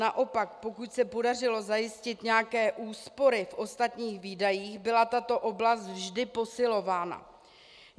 Naopak, pokud se podařilo zajistit nějaké úspory v ostatních výdajích, byla tato oblast vždy posilována.